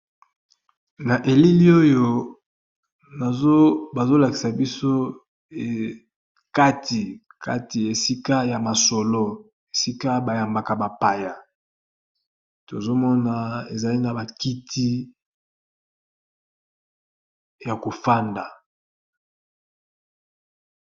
Na elili oyo bazolakisa biso kati kati esika ya masolo esika bayambaka bapaya tozomona ezali na bakiti ya kofanda.